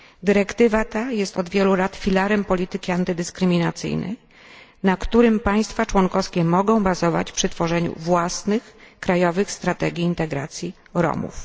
Dyrektywa ta jest od wielu lat filarem polityki antydyskryminacyjnej, na którym państwa członkowskie mogą bazować przy tworzeniu własnych krajowych strategii integracji Romów.